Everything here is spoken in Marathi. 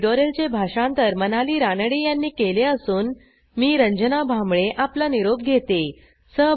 ह्या ट्युटोरियलचे भाषांतर मनाली रानडे यांनी केले असून मी रंजना भांबळे आपला निरोप घेते160